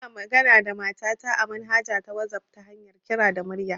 Muna managa da mata ta a manhaja ta wasaf ta hanyar kira da murya